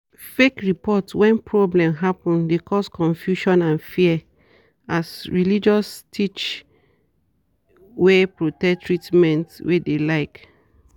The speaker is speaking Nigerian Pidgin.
fake report when problem happen de cause confusion and fear as religious teach wey protect treatment wey de like.